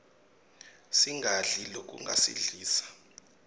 singadli lokungasiglisa